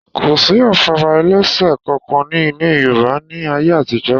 Kò sí afárá ẹlẹ́sẹ̀ kankan ní ilẹ̀ Yorùbá ní a yé àtijọ́